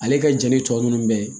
Ale ka jɛnni tɔ ninnu bɛɛ